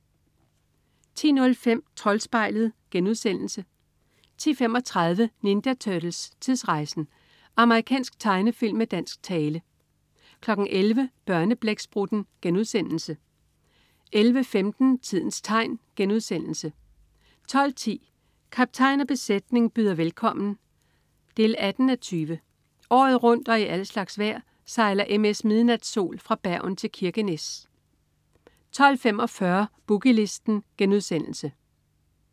10.05 Troldspejlet* 10.35 Ninja Turtles: Tidsrejsen! Amerikansk tegnefilm med dansk tale 11.00 Børneblæksprutten* 11.15 Tidens tegn* 12.10 Kaptajn og besætning byder velkommen 18:20. Året rundt og i al slags vejr sejler MS "Midnatsol" fra Bergen til Kirkenes 12.45 Boogie Listen*